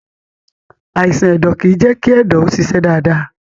Àìsàn ẹ̀dọ̀ kìí jẹ́ kí ẹ̀dọ̀ ó ṣiṣẹ́ dáadáa.